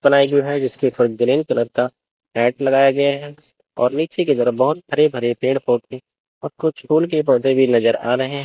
ply जो हैं जिसके ऊपर ग्रीन कलर का मैट लगाया गया हैं और नीचे के तरफ बहोत हरे भरे पेड़ पौधे और कुछ फूल के पौधे भी नजर आ रहे--